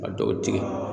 Ka dɔw tigɛ